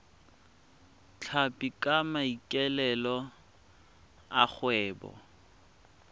tlhapi ka maikaelelo a kgwebo